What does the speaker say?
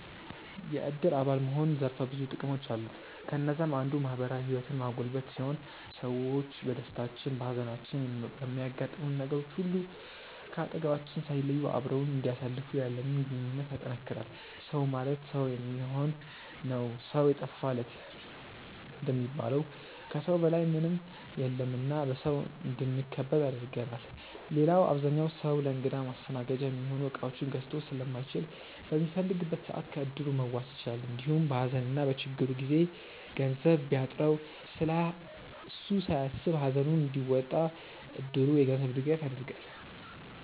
የዕድር አባል መሆን ዘርፈ ብዙ ጥቅሞች አሉት። ከነዛም አንዱ ማህበራዊ ህይወትን ማጎልበት ሲሆን ሰዎች በደስታችን፣ በሃዘናችን፣ በሚያጋጥሙን ነገሮች ሁሉ ከአጠገባችን ሳይለዩ አብረውን እንዲያሳልፉ ያለንን ግንኙነት ያጠነክራል። “ሰው ማለት ሰው የሚሆን ነው ሰው የጠፋ ለት” እንደሚባለው ከሰው በላይ ምንም የለም እና በሰው እንድንከበብ ያደርገናል። ሌላው አብዛኛው ሰው ለእንግዳ ማስተናገጃ የሚሆኑ እቃዎችን ገዝቶ ስለማይችል በሚፈልግበት ሰዓት ከዕድሩ መዋስ ይችላል። እንዲሁም በሃዘንና በችግሩ ጊዜ ገንዘብ ቢያጥረው ስለሱ ሳያስብ ሃዘኑን እንዲወጣ እድሩ የገንዘብ ድጋፍ ያደርጋል።